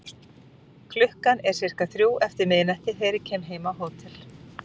Klukkan er sirka þrjú eftir miðnætti þegar ég kem heim á hótel.